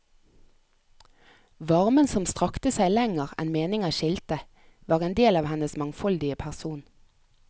Varmen som strakte seg lenger enn meninger skilte, var en del av hennes mangfoldige person.